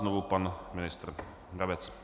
Znovu pan ministr Brabec.